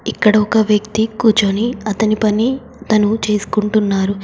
ఇక్కడ ఒక వ్యక్తి కూర్చొని అతని పని తను చేసుకుంటున్నారు.